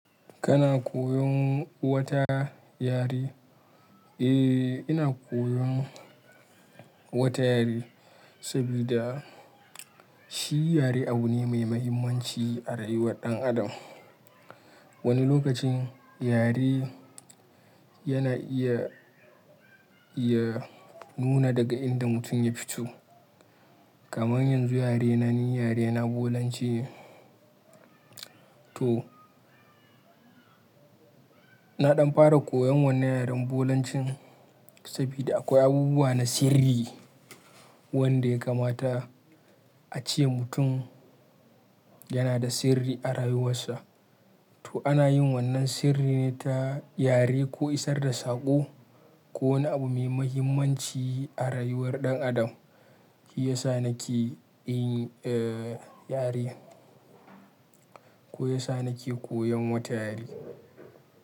Kana koyon wata yare? Eh, ina koyon wata yare sabida shi yare abu ne mai mahimmanci a rayuwar ɗan adam. Wani lokacin yare yana iya, iya nuna daga inda mutum ya fito. Kaman yanzu yarena ni yare na Bolanci ne. To, na ɗan fara koyon wannan yaren Bolancin sabida akwai abubuwa na sirri wanda ya kamata a ce mutum yana da sirri a rayuwarsa. To ana yin wannan sirri ne ta yare ko isar da saƙo ko wani abu mai mahimmanci a rayuwar ɗan adam. Shi yasa nake yin, eh, yare ko yasa nake koyon wata yare.